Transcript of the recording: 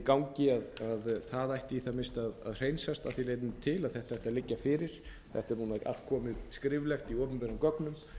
því leytinu til að þetta ætti að liggja fyrir þetta er núna allt komið skriflegt í opinberum gögnum